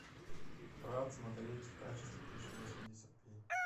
брат смотреть в качестве тысяча восемьдесят пи